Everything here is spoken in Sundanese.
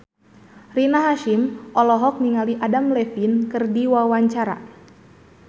Rina Hasyim olohok ningali Adam Levine keur diwawancara